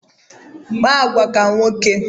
Kpa agwa ka nwoke!